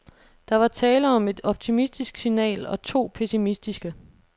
Der var tale om et optimistisk signal og to pessimistiske.